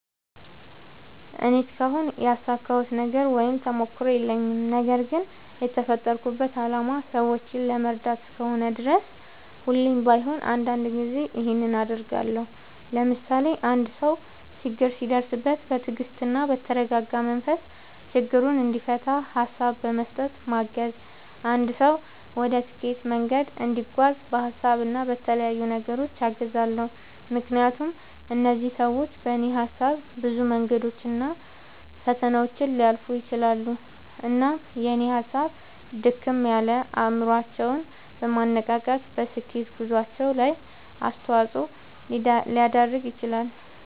እኔ እስካሁን ያሳካሁት ነገር ወይም ተሞክሮ የለኝም። ነገርግን የተፈጠርኩበት አላማ ሰዎችን ለመርዳት እስከሆነ ድረስ ሁሌም ባይሆን አንዳንድ ጊዜ ይኸንን አደርጋለሁ። ለምሳሌ፦ አንድ ሰው ችግር ሲደርስበት በትግስትና በተረጋጋ መንፈስ ችግሩን እንዲፈታ ሀሳብ በመስጠት ማገዝ፣ አንድ ሰው ወደ ስኬት መንገድ እንዲጓዝ በሀሳብ እና በተለያዩ ነገሮች አግዛለሁ። ምክንያቱም እነዚህ ሰዎች በኔ ሀሳብ ብዙ መንገዶችን እና ፈተናዎችን ሊያልፉ ይችላሉ። እናም የኔ ሀሳብ ድክም ያለ አይምሮአቸውን በማነቃቃት በስኬት ጉዞአቸው ላይ አስተዋጽኦ ሊያደርግ ይችላል።